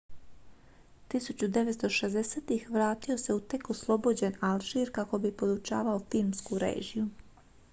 1960-ih vratio se u tek oslobođen alžir kako bi podučavao filmsku režiju